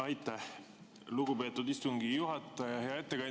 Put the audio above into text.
Aitäh, lugupeetud istungi juhataja!